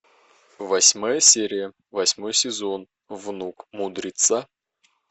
восьмая серия восьмой сезон внук мудреца